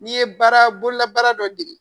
N'i ye baara bolola baara dɔ dege